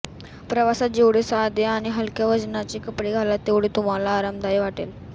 प्रवासात जेवढे साधे आणि हलक्या वजनाचे कपडे घालाल तेवढे तुम्हाला आरामदायी वाटेल